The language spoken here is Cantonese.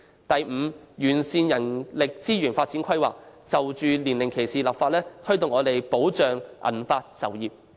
第五，完善人力資源發展規劃，並就年齡歧視立法，推動及保障銀髮就業。